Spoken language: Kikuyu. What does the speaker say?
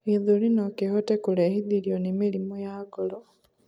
gĩthũri nokihote kurehithirio ni mĩrimũ ya ngoro